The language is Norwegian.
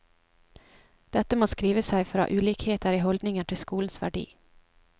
Dette må skrive seg fra ulikheter i holdninger til skolens verdi.